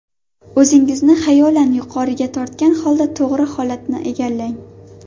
O‘zingizni xayolan yuqoriga tortgan holda, to‘g‘ri holatni egallang.